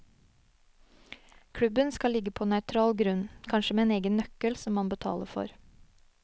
Klubben skal ligge på nøytral grunn, kanskje med egen nøkkel som man betaler for.